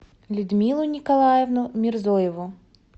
людмилу николаевну мирзоеву